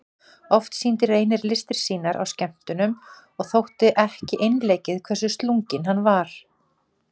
Oft sýndi Reynir listir sínar á skemmtunum og þótti ekki einleikið hversu slunginn hann var.